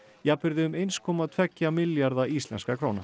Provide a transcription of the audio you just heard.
jafnvirði um eins komma tveggja milljarða íslenskra króna